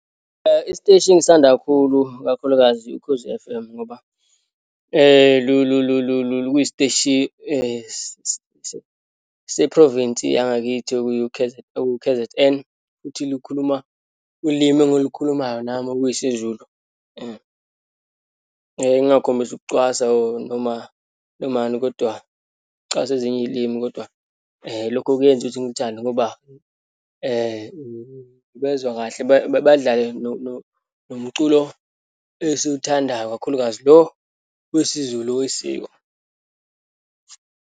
Isiteshi engisithanda kakhulu, kakhulukazi uKhozi F_M ngoba luyisiteshi se-province yangakithi ekuwu-K_Z_N, futhi likhuluma ulimi engilikhulumayo nami okuyisiZulu . Ngingakhombisi ukucwasa or noma nomani kodwa, ukucwaswa ezinye iyilimi kodwa lokho kuyenza ukuthi ngiluthande ngoba ubezwa kahle, badlale nomculo esiwuthandayo, kakhulukazi lo wesiZulu, wesiko.